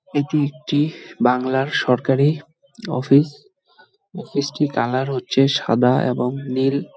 এটি একটি-ই বাংলার সরকারী অফিস অফিস -টির কালার হচ্ছে সাদা এবং নীল ।